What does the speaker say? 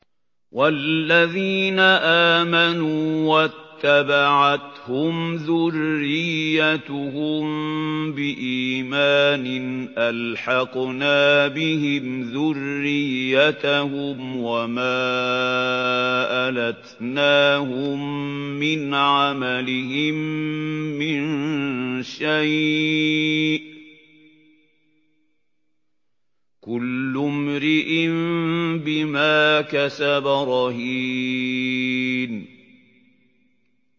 وَالَّذِينَ آمَنُوا وَاتَّبَعَتْهُمْ ذُرِّيَّتُهُم بِإِيمَانٍ أَلْحَقْنَا بِهِمْ ذُرِّيَّتَهُمْ وَمَا أَلَتْنَاهُم مِّنْ عَمَلِهِم مِّن شَيْءٍ ۚ كُلُّ امْرِئٍ بِمَا كَسَبَ رَهِينٌ